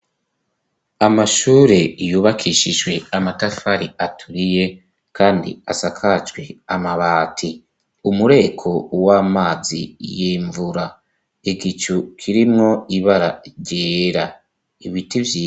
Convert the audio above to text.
Amashure yubakishijwe amatafari aturiye ,kandi asakajwe amabati ,umureko w'amazi y'imvura, igicu kirimwo ibara ryera, ibiti vyi